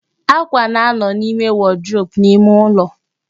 Ákwà na-anọ n'ime wọdrobu n'ime ụlọ